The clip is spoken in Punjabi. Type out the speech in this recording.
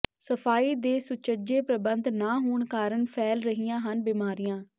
ਸਫ਼ਾਈ ਦੇ ਸੁਚੱਜੇ ਪ੍ਰਬੰਧ ਨਾ ਹੋਣ ਕਾਰਨ ਫੈਲ ਰਹੀਆਂ ਹਨ ਬਿਮਾਰੀਆਂ